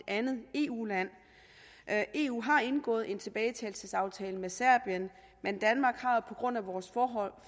eu land eu har indgået en tilbagetagelsesaftale med serbien men danmark har på grund af vores